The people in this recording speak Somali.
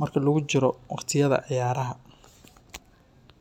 marka lagu jiro waqtiyada ciyaaraha.